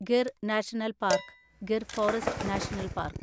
Gir national park (Gir forest national park)